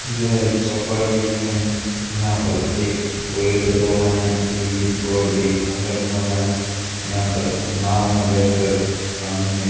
यह एक चौपाटी का हैं यहां पर एक पेड़ लगा हुआ हैं दिल्ली फोर्ड डे एक कमरा बना हुआ हैं यहां पर नाव में बैठकर पानी में --